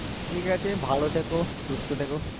ঠিকাছে ভালো থেকো সুস্থ থেকো